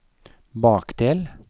bakdel